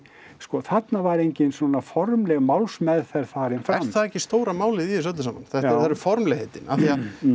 sko þarna var enginn svona formleg málsmeðferð farin fram er það ekki stóra málið í þessu öllu saman það eru formlegheitin af því að